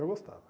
Eu gostava.